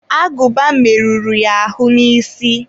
agụba merụrụ ya ahụ n'isi.